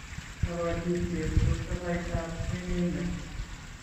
Kabatishet ko toloitaab emenyo